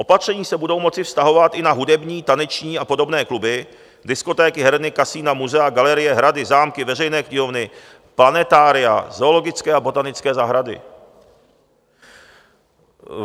Opatření se budou moci vztahovat i na hudební, taneční a podobné kluby, diskotéky, herny, kasina, muzea, galerie, hrady, zámky, veřejné knihovny, planetária, zoologické a botanické zahrady.